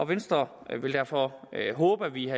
venstre vil derfor håbe at vi